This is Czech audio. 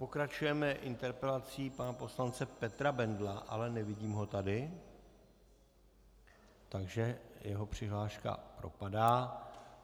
Pokračujeme interpelací pana poslance Petra Bendla, ale nevidím ho tady, takže jeho přihláška propadá.